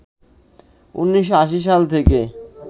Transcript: ১৯৮০ সাল থেকে